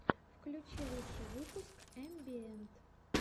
включи лучший выпуск амбиэнт